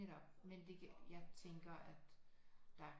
Netop men det jeg tænker at der